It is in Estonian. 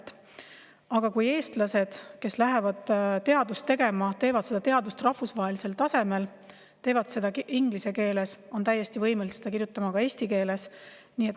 Aga, kui eestlased, kes lähevad teadust tegema, teevad seda rahvusvahelisel tasemel inglise keeles, kuid on täiesti võimelised kirjutama ka eesti keeles.